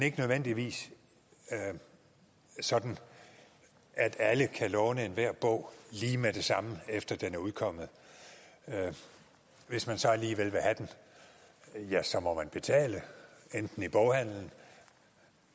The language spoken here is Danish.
ikke nødvendigvis sådan at alle kan låne enhver bog lige med det samme efter den er udkommet hvis man så alligevel vil have den ja så må man betale enten i boghandelen